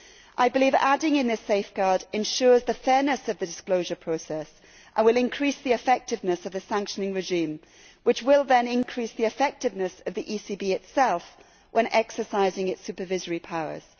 I believe adding in this safeguard ensures the fairness of the disclosure process and will increase the effectiveness of the sanctioning regime, which will then increase the effectiveness of the ECB itself when exercising its supervisory powers.